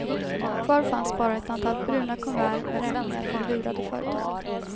Kvar fanns bara ett antal bruna kuvert med räkningar från lurade företag.